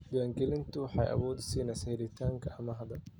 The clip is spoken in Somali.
Diiwaangelintu waxay awood u siinaysaa helitaanka amaahda.